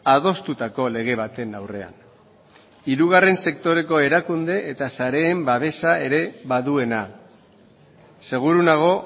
adostutako lege baten aurrean hirugarren sektoreko erakunde eta sareen babesa ere baduena seguru nago